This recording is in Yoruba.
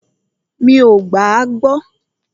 Mí o gbà à gbọ.